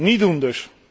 Niet doen dus!